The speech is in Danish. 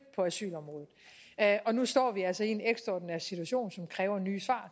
på asylområdet og nu står vi altså i en ekstraordinær situation som kræver nye svar